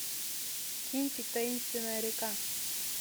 кинчик таинственная река